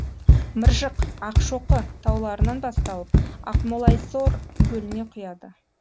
мыржық ақшоқы тауларынан басталып ақмолайсор көліне құяды